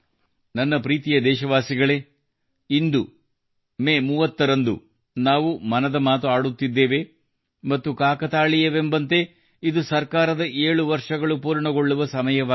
ನನ್ನ ಪ್ರೀತಿಯ ದೇಶವಾಸಿಗಳೇ ಇಂದು ಮೇ 30 ರಂದು ನಾವು ಮನದ ಮಾತು ಆಡುತ್ತಿದ್ದೇವೆ ಮತ್ತು ಕಾಕತಾಳೀಯವೆಂಬಂತೆ ಇದು ಸರ್ಕಾರದ 7 ವರ್ಷಗಳು ಪೂರ್ಣಗೊಳ್ಳುವ ಸಮಯವಾಗಿದೆ